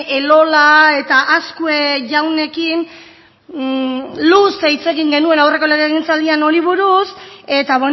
elola eta azkue jaunekin luze hitz egin genuena aurreko legegintzaldian honi buruz eta